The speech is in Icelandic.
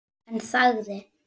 En þagði.